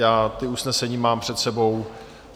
Já ta usnesení mám před sebou.